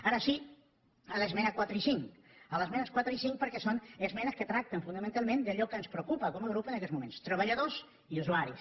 ara sí a les esmenes quatre i cinc a les esmenes quatre i cinc perquè són esmenes que tracten fonamentalment d’allò que ens preocupa com a grup en aquests moments treballadors i usuaris